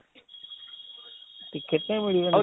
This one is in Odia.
ticket ପାଇଁ ମିଳିବ